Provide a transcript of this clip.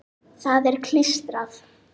Það er klístrað.